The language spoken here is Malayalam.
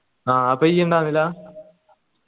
ആ അപ്പൊ ഇജ്ജ് ഇണ്ടായിര്ന്നില്ല